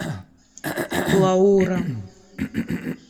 лаура